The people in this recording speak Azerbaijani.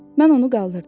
Mən onu qaldırdım.